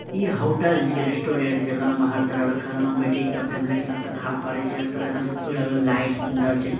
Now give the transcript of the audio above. इ होटल छीके रेस्टोरेंट हर-तरह के खाना बैठी के फैमिली के साथ खा पारे छै हर तरह के लाइट सुन्दर छै।